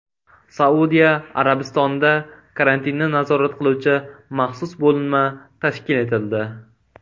Saudiya Arabistonida karantinni nazorat qiluvchi maxsus bo‘linma tashkil etildi.